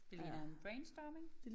Det ligner en brainstorming